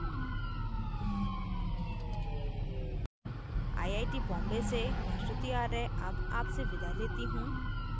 इस tutorial के लिए animation arthi और drawings saurabh gadgil द्वारा किया गया है